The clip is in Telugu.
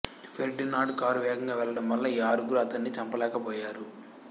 ఫెర్డినాండ్ కారు వేగంగా వెళ్ళడం వలన ఈ ఆరుగురు అతన్ని చంపలేకపోయారు